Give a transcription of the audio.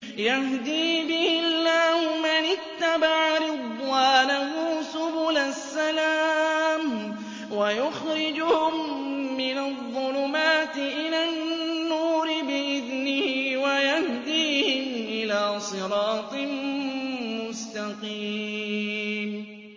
يَهْدِي بِهِ اللَّهُ مَنِ اتَّبَعَ رِضْوَانَهُ سُبُلَ السَّلَامِ وَيُخْرِجُهُم مِّنَ الظُّلُمَاتِ إِلَى النُّورِ بِإِذْنِهِ وَيَهْدِيهِمْ إِلَىٰ صِرَاطٍ مُّسْتَقِيمٍ